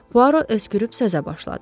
Puaro öskürüb sözə başladı.